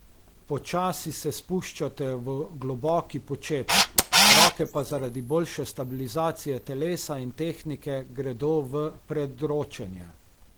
Počasi se spuščate v globoki počep, roke pa zaradi boljše stabilizacije telesa in tehnike gredo v predročenje.